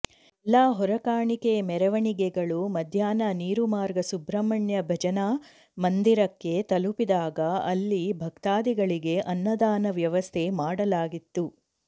ಎಲ್ಲ ಹೊರೆಕಾಣಿಕೆ ಮೆರವಣಿಗೆಗಳು ಮಧ್ಯಾಹ್ನ ನೀರುಮಾರ್ಗ ಸುಬ್ರಹ್ಮಣ್ಯ ಭಜನಾ ಮಂದಿರಕ್ಕೆ ತಲುಪಿದಾಗ ಅಲ್ಲಿ ಭಕ್ತಾಧಿಗಳಿಗೆ ಅನ್ನದಾನ ವ್ಯವಸ್ಥೆ ಮಾಡಲಾಗಿತ್ತು